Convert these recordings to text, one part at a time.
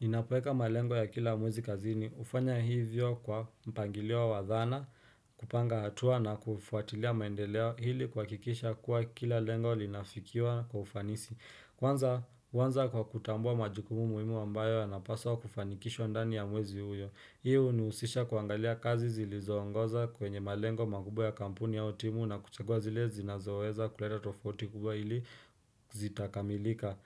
Ninapoweka malengo ya kila mwezi kazini, hufanya hivyo kwa mpangilio wa dhana, kupanga hatua na kufuatilia maendeleo iili kuhakikisha kuwa kila lengo linafikiwa kwa ufanisi. Kwanza huanza kwa kutambua majukumu muhimu ambayo yanapaswa kufanikishwa ndani ya mwezi huo. Hii huniusisha kuangalia kazi zilizoongoza kwenye malengo makubwa ya kampuni au timu na kuchagua zile zinazoeza kuleta tofauti kubwa ili zitakamilika.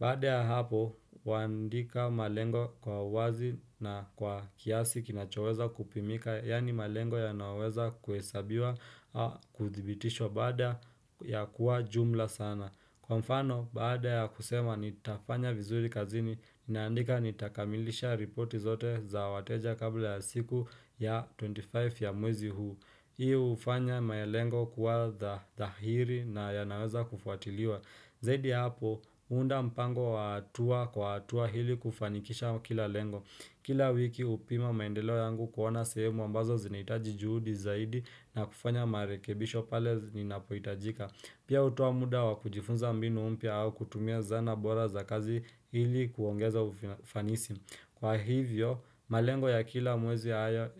Baada ya hapo, huandika malengo kwa wazi na kwa kiasi kinachoweza kupimika, yaani malengo yanayoweza kuhesabiwa au kuthibitishwa baada ya kuwa jumla sana. Kwa mfano, baada ya kusema nitafanya vizuri kazini, ninaandika nitakamilisha ripoti zote za wateja kabla ya siku ya 25 ya mwezi huu. Hii hufanya malengo kuwa dhahiri na yanaweza kufuatiliwa. Zaidi hapo, huunda mpango wa hatua kwa hatua ili kufanikisha kila lengo, Kila wiki hupima maendeleo yangu kuona sehemu ambazo zinahitaji juhudi zaidi na kufanya marekebisho pale zinapoitajika. Pia hutoa muda wa kujifunza mbinu mpya au kutumia zana bora za kazi ili kuongeza ufanisi Kwa hivyo, malengo ya kila mwezi haya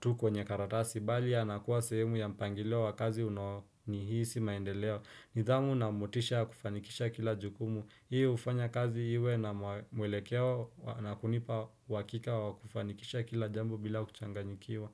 tu kwenye karatasi, bali ya na kuwa sehemu ya mpangilio wa kazi unaohisi maendeleo. Nidhamu na motisha ya kufanikisha kila jukumu. Hii hufanya kazi iwe na mwelekeo na kunipa uhakika wa kufanikisha kila jambo bila kuchanganyikiwa.